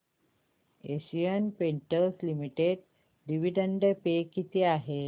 Asian Paints Limited dividend pay किती आहे